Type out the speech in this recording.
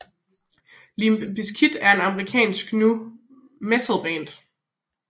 Limp Bizkit er et amerikansk nu metal band